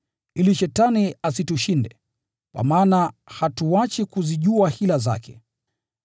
ili Shetani asitushinde. Kwa maana hatuachi kuzijua hila zake.